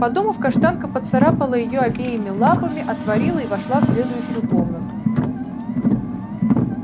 подумав каштанка поцарапала её обеими лапами отворила и вошла в следующую комнату